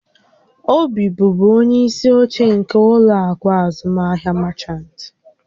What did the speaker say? Obi bụbu onye isi oche nke ụlọ akụ azụmaahịa Merchant